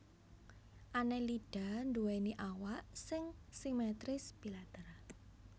Annelida nduwèni awak sing simetris bilateral